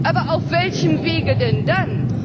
Aber auf welchem Wege denn dann?